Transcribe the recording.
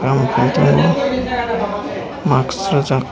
kam khai tongo mask rwjak.